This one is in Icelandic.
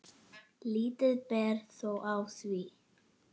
Lítið ber þó á því.